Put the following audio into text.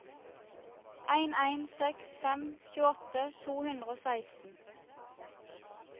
en en seks fem tjueåtte to hundre og seksten